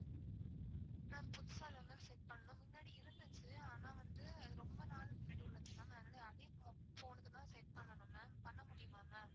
ma'am புதுசா தான் ma'am set பண்ணனும். மின்னாடி இருந்துச்சு ஆனா வந்து அது ரொம்ப நாள் முன்னாடி உள்ளது ma'am அதனால அதே phone னுக்கு தான் set பண்ணனும் ma'am. பண்ண முடியுமா ma'am?